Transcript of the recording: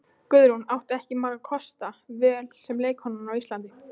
Guðrún átti ekki margra kosta völ sem leikkona á Íslandi.